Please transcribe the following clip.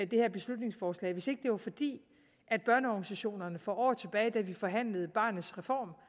det her beslutningsforslag hvis det ikke var fordi børneorganisationerne for år tilbage da vi forhandlede barnets reform